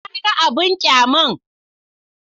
Na ga abin ƙyaman.